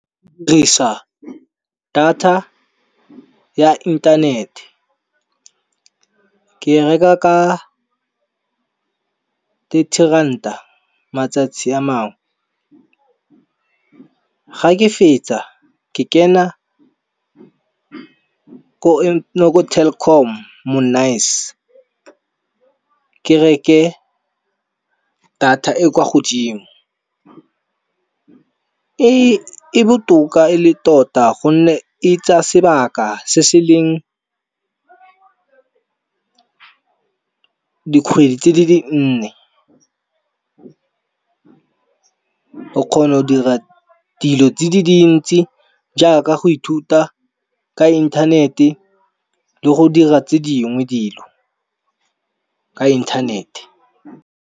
Data ya inthanete, ke reka ka thirty ranta matsatsi a mangwe. Ga ke fetsa ke kena ko Telkom ke reke data e kwa godimo. E botoka e le tota gonne e tsaya sebaka se se leng dikgwedi tse di nne. O kgona go dira dilo tse di dintsi jaaka go ithuta ka inthanete le go dira tse dingwe dilo ka inthanete.